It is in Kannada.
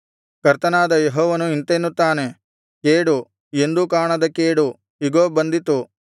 ಕರ್ತನಾದ ಯೆಹೋವನು ಇಂತೆನ್ನುತ್ತಾನೆ ಕೇಡು ಎಂದೂ ಕಾಣದ ಕೇಡು ಇಗೋ ಬಂದಿತು